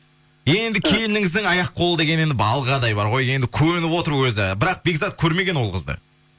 енді келініңіздің аяқ қолы деген енді балғадай бар ғой енді көніп отыр өзі бірақ бекзат көрмеген ол қызды